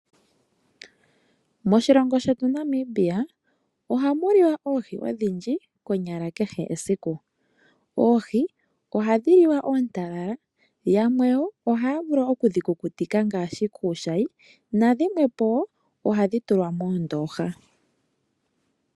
Moshilongo shetu Namibia ohamu liwa oohi odhindji konyala kehe esiku. Oohi ohadhi liwa oontalala ymwe ohaya vulu oku dhikukutika ngaashi kuushayi ,nadhimwepo ohadhi tulwa moondooha.